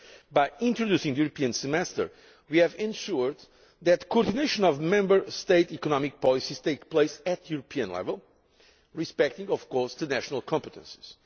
By introducing the European Semester, we have ensured that coordination of Member State economic policies takes place at European level, respecting of course the national competences.